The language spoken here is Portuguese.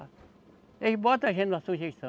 Eles botam a gente na sujeição.